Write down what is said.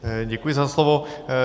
Děkuji za slovo.